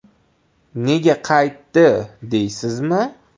Nega qaytdi deysizmi?